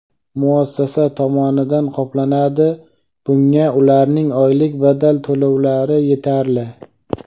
Muassasa tomonidan qoplanadi (bunga ularning oylik badal to‘lovlari yetarli).